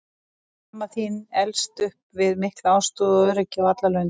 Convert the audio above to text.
Mamma þín elst upp við mikla ástúð og öryggi á alla lund.